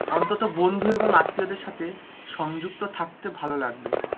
অন্তত বন্ধু এবং আত্মীয়দের সাথে সংযুক্ত থাকতে ভালো লাগবে,